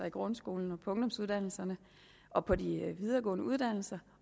i grundskolen og på ungdomsuddannelserne og på de videregående uddannelser